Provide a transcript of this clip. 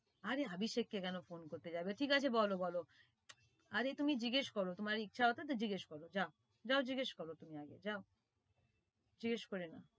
আরে অভিষেক কে কেন phone করতে যাবে ঠিক আছে বল বল আরে তুমি জিজ্ঞেস করো তোমার ইচ্ছা মতো জিজ্ঞেস করো যাও যাও জিজ্ঞেস করো যাও জিজ্ঞেসে করে নাও